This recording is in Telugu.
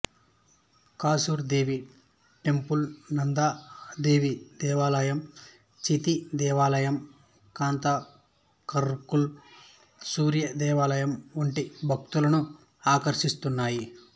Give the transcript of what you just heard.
కాసర్ దేవి టెంపుల్ నందా దేవి దేవాలయం చితి దేవాలయం కాతర్మాల్ సూర్య దేవాలయం వంటి భక్తులను ఆకర్షిస్తున్నాయి